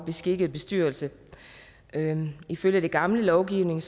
beskikkede bestyrelse ifølge den gamle lovgivning